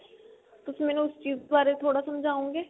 ਤੁਸੀਂ ਮੈਨੂੰ ਉਸ ਚੀਜ਼ ਬਾਰੇ ਥੋੜਾ ਸਮਝਾਉਣਗੇ